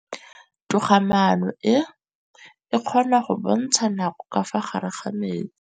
Toga-maanô e, e kgona go bontsha nakô ka fa gare ga metsi.